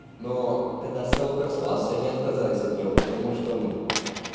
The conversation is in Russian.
но когда совок распался они отказались от него потому что ну